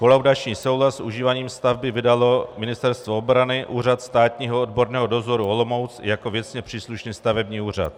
Kolaudační souhlas s užíváním stavby vydalo Ministerstvo obrany, Úřad státního odborného dozoru Olomouc jako věcně příslušný stavební úřad.